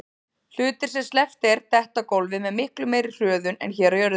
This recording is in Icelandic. Hlutir sem sleppt er detta á gólfið með miklu meiri hröðun en hér á jörðinni.